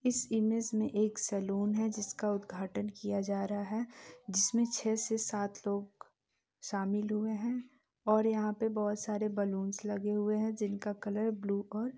इस इमेज में एक सलून है जिसका उद्घाटन किया जा रहा है जिसमे छे से सात लोग शामिल हुए है और यहाँ पर बहुत सारे बलून्स लगे हुए है जिसका कलर ब्लू और--